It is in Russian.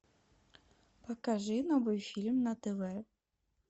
покажи новый фильм на тв